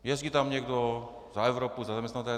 Jezdí tam někdo za Evropu, za zaměstnavatele.